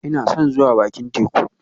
Ina son zuwa bakin teku